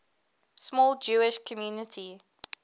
small jewish community